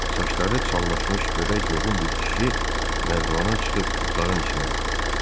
Saçları çallaşmış gödək yoğun bir kişi nərdivana çıxıb otağın içinə baxır.